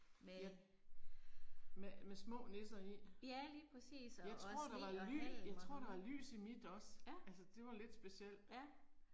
Med. Ja lige præcis og og sne og halm og. Ja. Ja